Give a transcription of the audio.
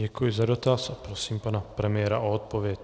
Děkuji za dotaz a prosím pana premiéra o odpověď.